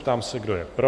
Ptám se, kdo je pro?